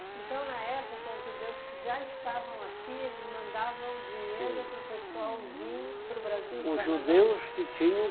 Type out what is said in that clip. Então, na época, os judeus que já estavam aqui, eles mandavam dinheiro para o pessoal vir para o Brasil? Os judeus que tinham